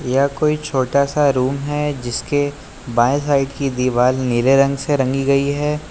यह कोई छोटा सा रूम है जिसके बाए साइड की दीवाल नीले रंग से रंगी गई है।